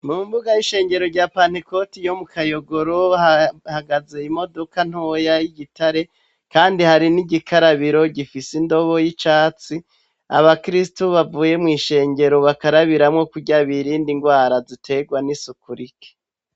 Mu mbuga y'ishengero rya pantegoti yo mu Kayogoro ahagaze imodoka ntoya y'igitare kandi hari n'igikarabiro gifise indobo y'icatsi abakirisito bavuye mu ishengero bakarabiramo kurya birindi ngwara zitegwa n'isukurike.